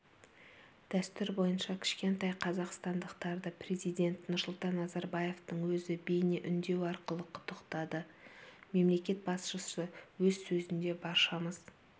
дәстүр бойынша кішкентай қазақстандықтарды президент нұрсұлтан назарбаевтың өзі бейнеүндеу арқылы құттықтады мемлекет басшысы өз сөзінде баршамыз